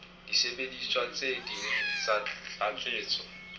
disebediswa tse ding tsa tlatsetso